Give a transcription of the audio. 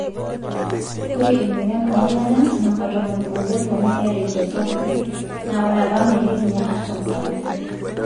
Etaa emoyian oolala namba tomon oobo too moyiaritin sapuki naa ore apa metii ninye artam sapuki.